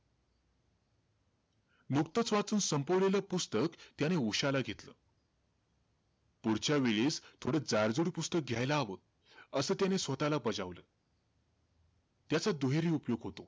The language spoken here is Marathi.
नुकतंच वाचून संपवलेलं पुस्तक त्याने उश्याला घेतल. पुढच्या वेळेस थोडं जाड-जुड पुस्तक घ्यायला हवं, असं त्याने स्वतःला बजावला. त्याचा दुहेरी उपयोग होतो.